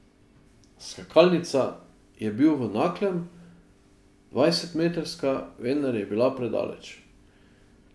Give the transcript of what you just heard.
Skakalnica je bil v Naklem, dvajsetmetrska, vendar je bila predaleč.